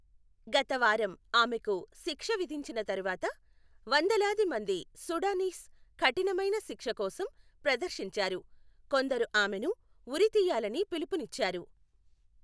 గత వారం ఆమెకు శిక్ష విధించిన తర్వాత, వందలాది మంది సూడానీస్ కఠినమైన శిక్ష కోసం ప్రదర్శించారు, కొందరు ఆమెను ఉరితీయాలని పిలుపునిచ్చారు.